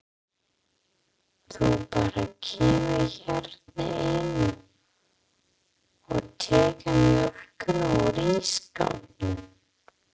Þú bara kemur hérna inn og tekur mjólkina úr ísskápnum.